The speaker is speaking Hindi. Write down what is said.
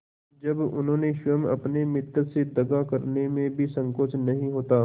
जब उन्हें स्वयं अपने मित्रों से दगा करने में भी संकोच नहीं होता